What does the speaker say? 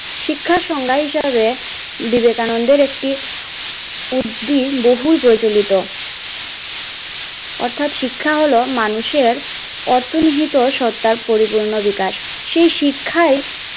শিক্ষার সংজ্ঞা হিসেবে বিবেকানন্দের একটি বহু প্রচলিত অর্থাৎ শিক্ষা হলো মানুষের অর্থনীত সত্যার পরিপূর্ণ বিকাশ সেই শিক্ষায়